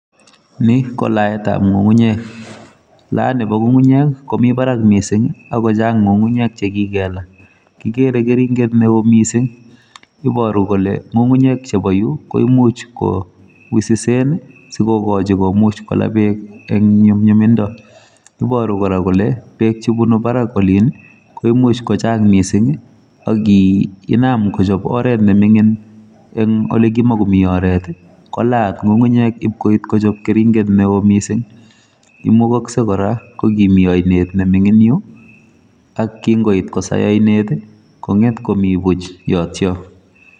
Ni ko laetab ng'ung'unyek. Laet nebo ng'ung'unyek, komii barak missing, akochang' ng'ung'unyek chekikelaa. Kigere keringet neoo missing. Iboru kole ng'ung'unyek chebo yu, koimuch ko wisisen, sikokochi komuch kola beek eng' nyumnyumindo. Iboru kora kole, beek chebunu barak olin, koimuch kochang' missing, agi inam kochop oret ne ming'in, eng' ole kimakomi oret, kolaat ng'ung'unyek ipkoit kochop keringet neoo missing. Imugakse kora, kokimi ainet ni ming'in yu, ak kingoit kosai ainet, kong'et komii buch yotoyo.